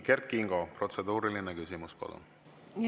Kert Kingo, protseduuriline küsimus, palun!